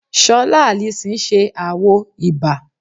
Ṣola Allyson ṣe àwo 'Iba'